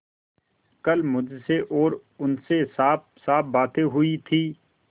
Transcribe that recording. कल मुझसे और उनसे साफसाफ बातें हुई